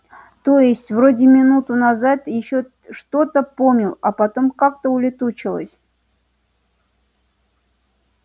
то есть вроде минуту назад ещё что-то помнил а потом как-то улетучилось